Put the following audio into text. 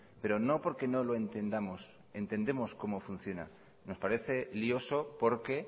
pero no porque no lo entendamos entendemos cómo funciona nos parece lioso porque